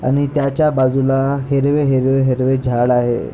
आणि त्याच्या बाजूला हिरवे हिरवे हिरवे झाड आहे.